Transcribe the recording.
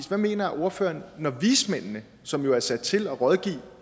hvad mener ordføreren når vismændene som jo er sat til at rådgive